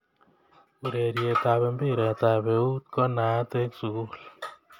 Urerietab mpiretab euut ko naat eng sukul